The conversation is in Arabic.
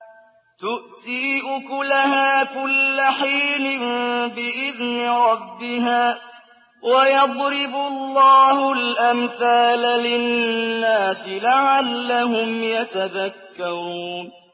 تُؤْتِي أُكُلَهَا كُلَّ حِينٍ بِإِذْنِ رَبِّهَا ۗ وَيَضْرِبُ اللَّهُ الْأَمْثَالَ لِلنَّاسِ لَعَلَّهُمْ يَتَذَكَّرُونَ